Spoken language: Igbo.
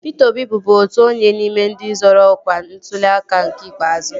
Pịta Obi bụbu otu onye n'ime ndị zoro ọkwa n'ntuli aka nke ikpeazụ